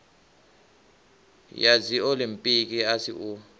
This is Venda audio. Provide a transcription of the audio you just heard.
ya dziolimpiki a si u